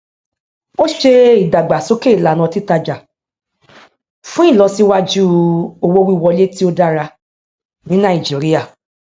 ó ṣe ìdàgbàsókè ìlànà titájà fún ìlọsíwájú owówíwọlé tí ó dára ní nàìjíríà